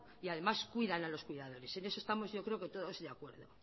y además cuidan a los cuidadores en eso estamos yo creo que todos de acuerdo